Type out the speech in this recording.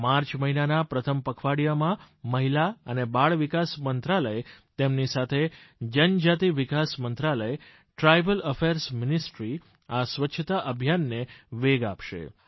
March મહિનાના પ્રથમ પખવાડીયામાં મહિલા અને બાળ વિકાસ મંત્રાલય તેમની સાથે જનજાતિ વિકાસ મંત્રાલય ટ્રાઇબલ અફેયર્સ મિનિસ્ટ્રી આ સ્વચ્છતા અભિયાનને વેગ આપશે